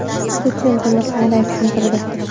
Putin buni qanday tushuntirdi?